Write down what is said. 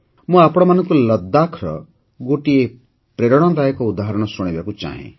ମୁଁ ଆପଣମାନଙ୍କୁ ଲଦ୍ଦାଖ୍ର ଗୋଟିଏ ପ୍ରେରଣାଦାୟକ ଉଦାହରଣ ଶୁଣାଇବାକୁ ଚାହେଁ